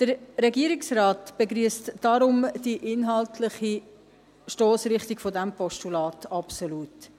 Der Regierungsrat begrüsst deshalb die inhaltliche Stossrichtung dieses Postulats absolut.